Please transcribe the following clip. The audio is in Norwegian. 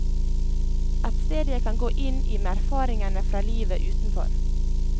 Et sted jeg kan gå inn i med erfaringene fra livet utenfor.